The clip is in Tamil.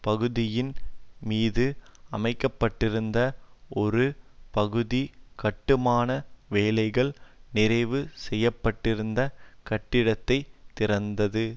பகுதியின் மீது அமைக்க பட்டிருந்த ஒரு பகுதி கட்டுமான வேலைகள் நிறைவு செய்ய பட்டிருந்த கட்டிடத்தை திறந்தது